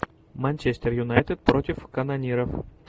манчестер юнайтед против канониров